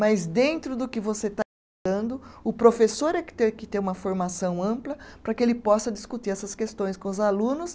Mas dentro do que você está, o professor é que tem que ter uma formação ampla para que ele possa discutir essas questões com os alunos.